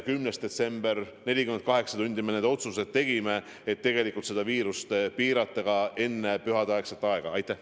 10. detsembril – 48 tundi hiljem – me need otsused tegime, et viiruse levikut enne pühadeaega piirata.